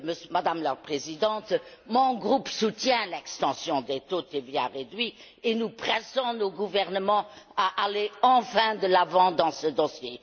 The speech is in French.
Madame la Présidente, mon groupe soutient l'extension des taux de TVA réduits et nous pressons nos gouvernements d'aller enfin de l'avant dans ce dossier.